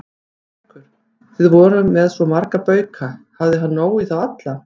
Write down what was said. Haukur: Þið voruð með svo marga bauka, hafði hann nóg í þá alla?